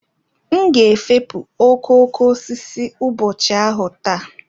M ga-efopụ okooko osisi ụbọchị ahụ taa.